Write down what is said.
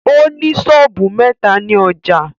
Ó ní sọ́ọ̀bù mẹ́ta ni ọjâ